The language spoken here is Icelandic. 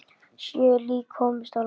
Sjö lík komust á land.